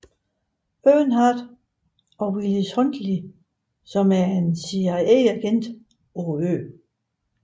Earnhardt og Willis Huntley som er en CIA agent på øen